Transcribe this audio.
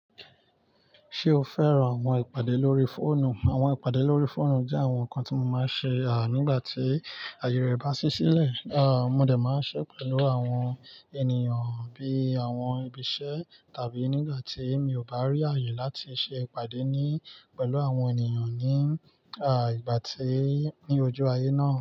Ṣé o fẹ́ràn àwọn ìpàdé lórí fóònù? Àwọn ìpàdé lórí fóònù jẹ́ àwọn nǹkan tí mo máa ń ṣe, à, nígbà tí àyè rẹ bá sí sílẹ̀. À, mo dè máa ń ṣe pẹ̀lú àwọn ènìyàn bí àwọn ibi iṣẹ́ tàbí nígbà tí mi ò bá rí àyè láti ṣe ìpàdé ní, pẹ̀lú àwọn ènìyàn ní, à, ìgbà tí, ní ojú ayé náà.